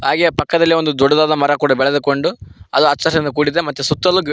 ಹಾಗೇ ಪಕ್ಕದಲ್ಲಿ ಒಂದು ದೊಡ್ಡದಾದ ಮರ ಕೂಡ ಬೆಳೆದುಕೊಂಡು ಅದು ಹಚ್ಚ ಹಸುರಿನಿಂದ ಕೂಡಿದೆ ಮತ್ತೆ ಸುತ್ತಲು ಗಿ --